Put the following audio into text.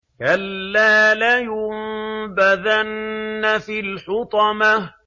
كَلَّا ۖ لَيُنبَذَنَّ فِي الْحُطَمَةِ